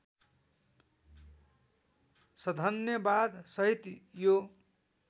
सधन्यवाद सहित यो